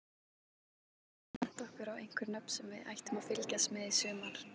Geturðu bent okkur á einhver nöfn sem við ættum að fylgjast með í sumar?